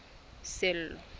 sello